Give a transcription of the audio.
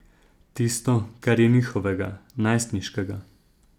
Tisto, kar je njihovega, najstniškega.